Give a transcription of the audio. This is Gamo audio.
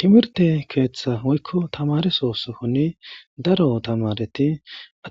Timirte keeththa hoykko tamaresosohoni daro tamareti